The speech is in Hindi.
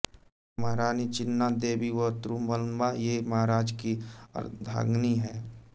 महारानी चिन्नादेवी व त्रुमलंबा ये महाराज की अर्धांगनी हैं